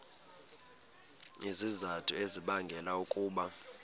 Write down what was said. izizathu ezibangela ukuba